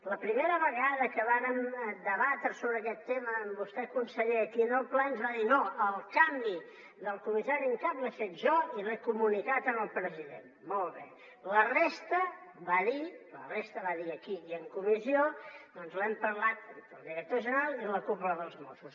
la primera vegada que vàrem debatre sobre aquest tema amb vostè conseller aquí en el ple ens va dir no el canvi del comissari en cap l’he fet jo i l’he comunicat al president molt bé la resta va dir aquí i en comissió doncs l’hem parlat entre el director general i la cúpula dels mossos